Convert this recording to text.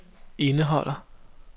indeholder